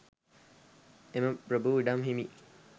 එම ප්‍රභූ ඉඩම් හිමි